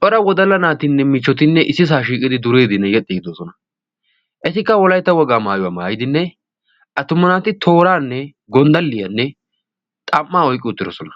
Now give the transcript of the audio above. cora wodala naatinne michchotinne issi saa shiiqidi duriidinne yexxi giddoosona etikka wolaytta wogaa maayuwaa maayidinne attuma naati tooraanne gonddaliyaanne xam''aa oyqqi uttidosona